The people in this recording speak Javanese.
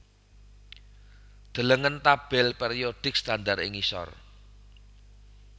Delengen tabèl périodik standar ing ngisor